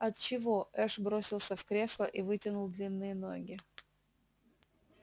от чего эш бросился в кресло и вытянул длинные ноги